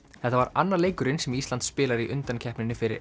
þetta var annar leikurinn sem Ísland spilar í undankeppninni fyrir